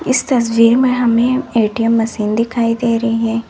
इस तस्वीर में हमें ए_टी_एम मशीन दिखाई दे रही है।